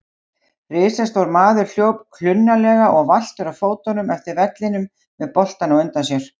Risastór maður hljóp klunnalega og valtur á fótum eftir vellinum með boltann á undan sér.